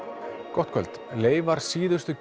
gott kvöld leifar síðustu